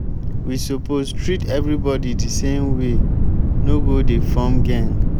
we suppose treat everybody de same way no go dey form geng.